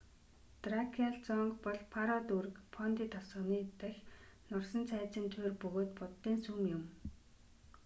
дракиал зонг бол паро дүүрэг фондий тосгоны дахь нурсан цайзын туйр бөгөөд буддын сүм юм